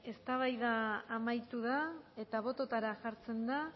eztabaida amaitu da eta bototara jartzen da